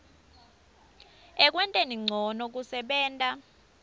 ekwenteni ncono kusebenta